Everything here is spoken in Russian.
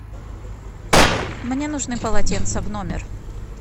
мне нужны полотенца в номер